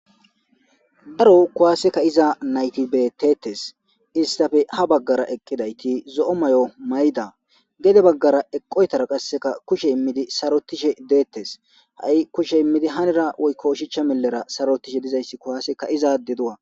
Daro kuwaaseka iza naytibetetes istafe ha baggara eqqidayti zo7o may7o mayda gede baggara eqqoytara qasseka kushe immidi sarotishe deettes ha7i kushe immidi hanira woykko oshicha mellera sarotishe dizayssi kuwaaseka izaade du7a.